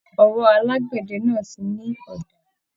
Ọwọ́ alagbẹdẹ náà tí ní ọ̀dà